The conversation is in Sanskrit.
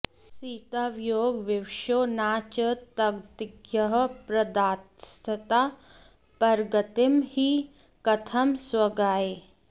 सीतावियोगविवशो न च तद्गतिज्ञः प्रादास्तदा परगतिं हि कथं स्वगाय